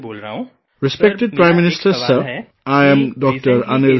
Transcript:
"Respected Prime Minister Sir, I am Dr